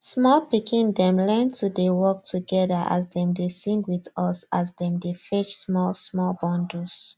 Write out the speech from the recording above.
small pikin dem learn to dey work together as dem dey sing with us as dem dey fetch small small bundles